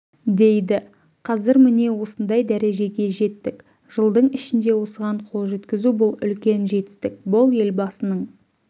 дейді қазір міне осындай дәрежеге жеттік жылдың ішінде осыған қол жеткізу бұл үлкен жетістік бұл елбасының